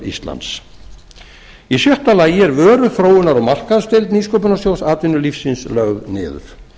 íslands í sjötta lagi er vöruþróunar og markaðsdeild nýsköpunarsjóðs atvinnulífsins lögð niður